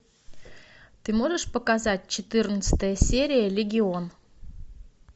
ты можешь показать четырнадцатая серия легион